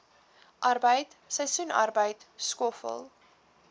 arbeid seisoensarbeid skoffel